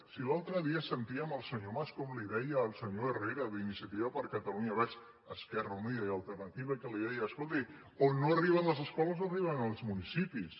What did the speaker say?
si l’altre dia sentíem el senyor mas com li deia al senyor herrera d’iniciati·va per catalunya verds · esquerra unida i alternati·va que li deia escolti on no arriben les escoles arri·ben els municipis